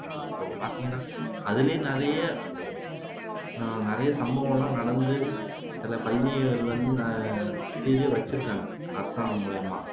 அப்போ பாத்தீங்கன்னா அதுலேயும் நிறைய நிறைய சம்பவம் எல்லாம் நடந்து சில பள்ளிகள்ல வந்து சீலே வச்சுருக்காங்க அரசாங்கம் மூலமா